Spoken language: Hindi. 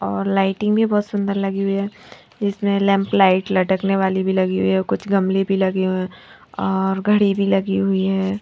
और लाइटिंग भी बहुत सुंदर लगी हुई है इसमें लैंप लाइट लटकने वाली भी लगी हुई है और कुछ गमले भी लगे हुए हैं और घड़ी भी लगी हुई है।